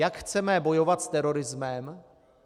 Jak chceme bojovat s terorismem?